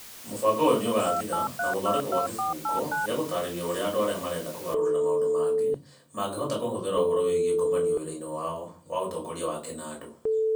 Mũbango ũyũ nĩ ũgaathira na gũthondekwo gwa kĩbungo gĩa gũtaarĩria ũrĩa andũ arĩa marenda kũgarũrĩra maũndũ mangĩ mangĩhota kũhũthĩra ũhoro wĩgiĩ ngomanio wĩra-inĩ wao wa ũtongoria wa kĩnandũ.